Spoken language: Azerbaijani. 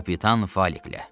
Kapitan Faliklə.